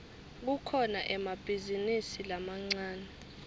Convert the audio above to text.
kukhona emabhizinisi lamancane